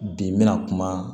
Bi n bɛna kuma